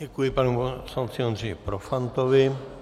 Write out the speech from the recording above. Děkuji panu poslanci Ondřeji Profantovi.